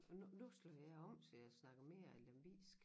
Men nu nu slog jeg om så jeg snakker mere lemvigsk